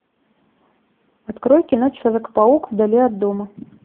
открой кино человек паук вдали от дома